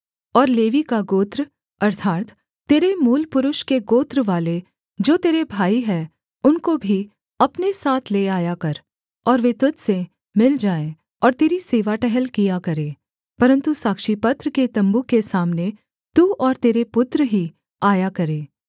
और लेवी का गोत्र अर्थात् तेरे मूलपुरुष के गोत्रवाले जो तेरे भाई हैं उनको भी अपने साथ ले आया कर और वे तुझ से मिल जाएँ और तेरी सेवा टहल किया करें परन्तु साक्षीपत्र के तम्बू के सामने तू और तेरे पुत्र ही आया करें